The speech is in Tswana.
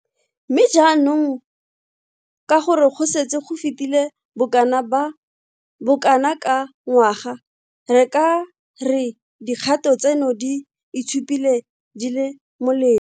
Mme, jaanong ka gore go setse go fetile bokana ka ngwaga, re ka re dikgato tseno di itshupile di le mole.